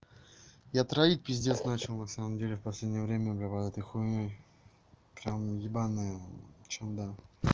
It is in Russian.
я троить пиздец начал на самом деле в последнее время убивает этой хуйнёй прямо ебанное чудо